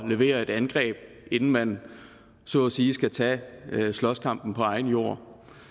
levere et angreb inden man så at sige skal tage slåskampen på egen jord